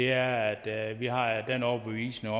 er at vi har den overbevisning